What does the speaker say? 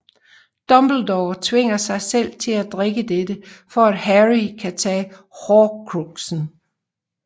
Dumbledore tvinger sig selv til at drikke dette for at Harry kan tage Horcruxen